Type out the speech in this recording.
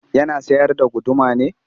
Yana sayar da guduma ne?